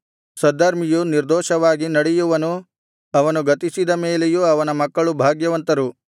ಸದ್ಧರ್ಮಿಯು ನಿರ್ದೋಷವಾಗಿ ನಡೆಯುವನು ಅವನು ಗತಿಸಿದ ಮೇಲೆಯೂ ಅವನ ಮಕ್ಕಳು ಭಾಗ್ಯವಂತರು